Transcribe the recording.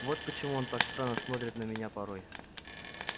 вот почему он так странно смотрит на меня порой